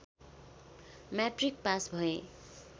matric pass भए